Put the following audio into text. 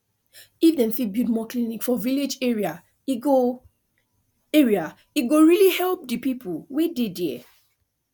if dem fit build more clinic for village area e go area e go really help the people wey dey there